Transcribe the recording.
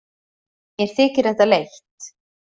Mér þykir þetta leitt.